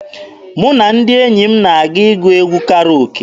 Mụ na ndị enyi m na-aga ịgụ egwu Karoke.